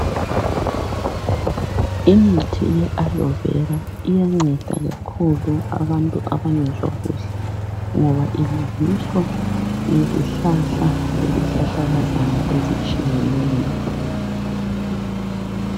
Imithi ye alovera iyanceda kakhulu abantu abangezwa kuhle ngoba ilungiswa ngezihlahla lezihlahlakazana ezitshiyeneyo.